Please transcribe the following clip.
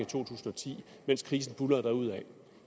tusind og ti mens krisen buldrede derudaf